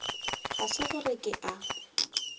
ga se gore ke a